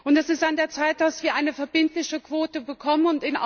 Es ist an der Zeit, dass wir eine verbindliche Quote bekommen.